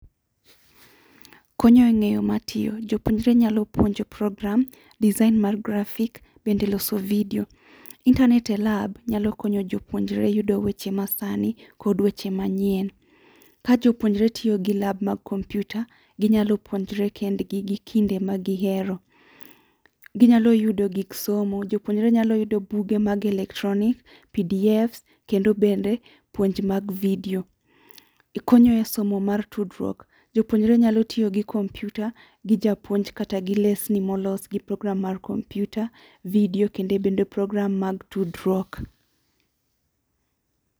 Konyo e ng'eyo matiyo. Jopuonjre nyalo puonjo program, design mar graphic bende e loso video. internet e lab, nyalo konyo jopuonjre yudo weche masani kod weche manyien. Ka jopuonjre tiyo gi lab mag kompyuta, ginyalo puonjre kendgi gi kinde ma gihero. Ginyalo yudo gik somo, jopuonjre nyalo yudo buge mag electronic, pdfs kendo bende puonj mag video. Ikonyoe somo mar tudruok, jopuonjre nyalo tiyo gi kompyuta, gi japuonj kata gi lesni molos gi program mar kompyuta, video kendo bende program mag tudruok